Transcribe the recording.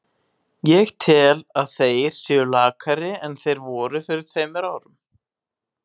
Ég tel að þeir séu lakari en þeir voru fyrir tveimur árum.